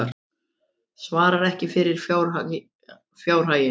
Svarar ekki fyrir fjárhaginn